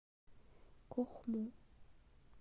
кохму